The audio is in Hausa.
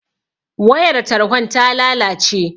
Wayar tarhon ta lalace